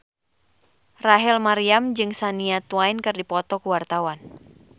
Rachel Maryam jeung Shania Twain keur dipoto ku wartawan